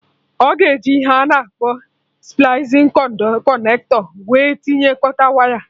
Ọ ga eji ihe a na-akpọ splicing connector wee tinyekọta waya